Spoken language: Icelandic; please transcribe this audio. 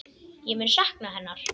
Ég mun sakna hennar.